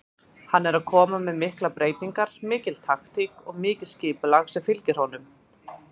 Hann er að koma með miklar breytingar, mikil taktík og mikið skipulag sem fylgir honum.